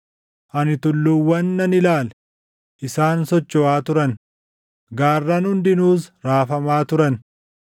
Ani tulluuwwan nan ilaale; isaan sochoʼaa turan; gaarran hundinuus raafamaa turan.